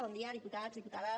bon dia diputats diputades